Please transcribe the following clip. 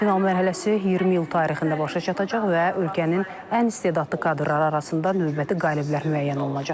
Final mərhələsi 20 iyul tarixində başa çatacaq və ölkənin ən istedadlı kadrları arasında növbəti qaliblər müəyyən olunacaq.